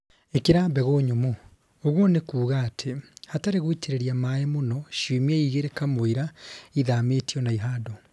Īkĩra mbegũ nyũmũ ũguo nĩkuga atĩ hatarĩ gũitĩrĩria maĩ mũno ciumia igĩrĩ kamũira ithamĩtio na ihandwo